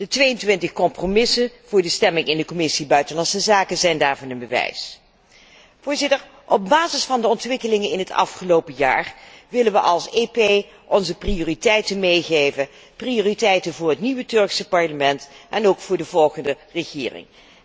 De 22 compromisamendementen voor de stemming in de Commissie buitenlandse zaken zijn daarvan een bewijs. Op basis van de ontwikkelingen in het afgelopen jaar willen we als EP onze prioriteiten meegeven, prioriteiten voor het nieuwe Turkse parlement en ook voor de volgende regering.